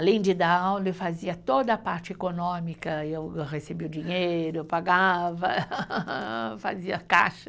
Além de dar aula, eu fazia toda a parte econômica, eu recebia o dinheiro, eu pagava, fazia caixa.